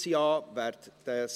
Antrag BaK [Mentha, Liebefeld])